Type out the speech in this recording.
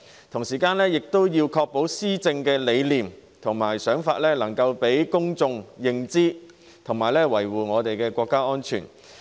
同時，政府亦要確保施政理念及想法能讓公眾認知，維護國家安全。